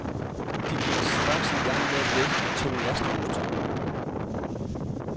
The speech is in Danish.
De gik straks igang med at læsse de to lastvognstog.